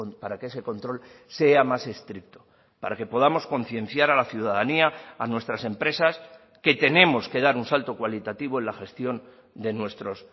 para que ese control sea más estricto para que podamos concienciar a la ciudadanía a nuestras empresas que tenemos que dar un salto cualitativo en la gestión de nuestros